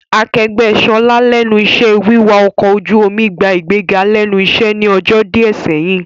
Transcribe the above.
Akẹgbẹ Ṣọlá lẹ́nu iṣẹ́ wiwà ọkọ̀ ojú omi gbà ìgbéga lẹ́nu iṣẹ́ ní ọjọ́ díẹ̀ sẹ́yìn